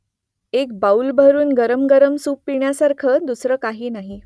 एक बाऊलभरून गरमगरम सूप पिण्यासारखं दुसरं काही नाही